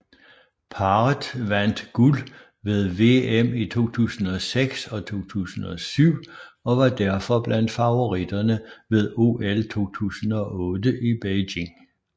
Parret vandt guld ved VM i 2006 og 2007 og var derfor blandt favoritterne ved OL 2008 i Beijing